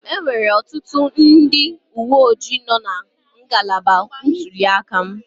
Enwere ọtụtụ ndị uwe ojii nọọ na ngalaba ntuli aka m